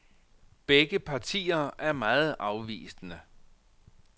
Begge partier er meget afvisende.